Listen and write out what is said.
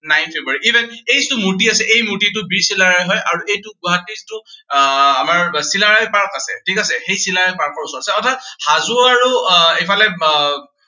nine February এই যিটো মুৰ্তি আছে, এই মুৰ্তিটো বীৰ চিলাৰায় হয়। আৰু এইটো গুৱাহাটীতো আহ আমাৰ চিলাৰায় park আছে, ঠিক আছে। সেই চিলাৰায় park ৰ ওচৰত আছে, ঠিক আছে। অৰ্থাৎ হাজো আৰু আহ এইফালে আহ